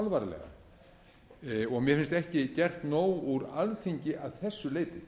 alvarlega mér finnst ekki gert nóg úr alþingi að þessu leyti